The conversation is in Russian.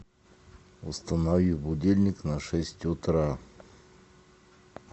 установи будильник на шесть утра